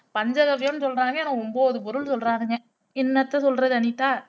பஞ்சகவ்வியம்ன்னு சொல்றாங்க ஆனா ஒன்பது பொருள் சொல்றானுங்க என்னத்த சொல்றது அனிதா